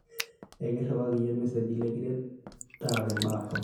ekiriwaki iyie irmeseji likiret taarare imbaa torok